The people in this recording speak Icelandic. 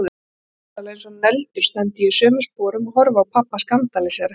Bókstaflega eins og negldur stend ég í sömu sporum og horfi á pabba skandalísera.